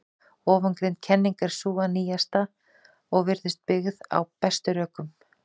Ofangreind kenning er sú nýjasta og virðist byggð á bestum rökum.